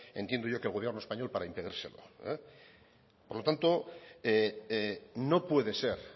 entiendo yo que el gobierno español para impedírselo por lo tanto no puede ser